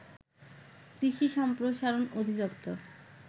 কৃষি সম্প্রসারণ অধিদপ্তর